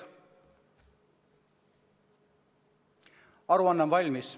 " Aruanne on valmis.